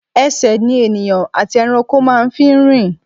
Ẹsẹ̀ ni ènìyàn àti ẹranko máa ń fi ń rin.